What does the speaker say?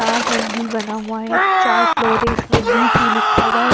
चार मंजिल बना हुआ है चार फ्लोर है इसमें वी टू लिखा हुआ है।